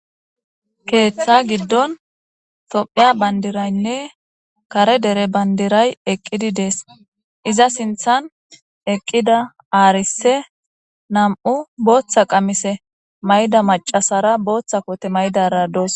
keeththa giddon tophiya bandiraynne kare dere bandiray eqqidi dees iza sinthan eqqida aarise nam'u booththa qamise mayda macasara booththa kote maydara doos